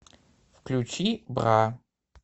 включи бра